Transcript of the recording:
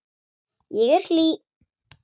Ég er hlý.